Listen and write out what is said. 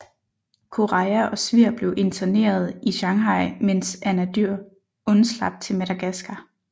Koreja og Svir blev interneret i Shanghai mens Anadyr undslap til Madagaskar